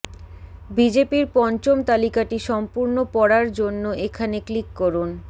বিজেপির পঞ্চম তালিকাটি সম্পূর্ণ পড়ার জন্য এখানে ক্লিক করুন